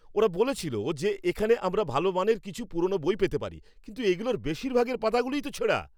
ওরা বলেছিল যে এখানে আমরা ভালো মানের কিছু পুরনো বই পেতে পারি, কিন্তু এগুলোর বেশিরভাগের পাতাগুলোই তো ছেঁড়া।